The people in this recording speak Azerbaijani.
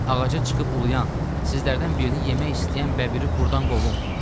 Ağaca çıxıb uluyan, sizlərdən birini yemək istəyən bəbiri burdan qovum.